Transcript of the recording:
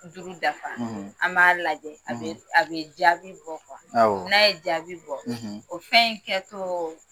Duuru dafa; ; An b'a lajɛ; ; a bɛ a bɛ jaabi bɔ ; Awɔ; n'a ye jaabi bɔ; ; O fɛn in kɛ tɔɔ